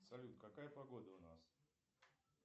салют какая погода у нас